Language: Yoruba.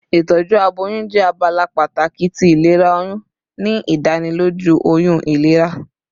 Itọju aboyun jẹ abala pataki ti ilera oyun, ni idaniloju oyun ilera